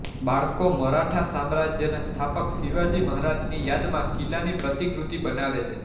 બાળકો મરાઠા સામ્રાજ્યના સ્થાપક શિવાજી મહારાજની યાદમાં કિલ્લાની પ્રતિકૃતિ બનાવે છે